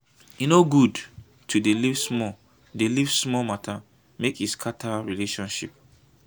e no good to dey leave small dey leave small mata make e scatter relationship.